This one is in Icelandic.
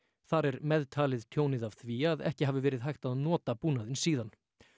þar er meðtalið tjónið af því að ekki hafi verið hægt að nota búnaðinn síðan